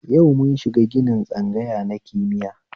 Yau mun shiga ginin tsangaya na kimiya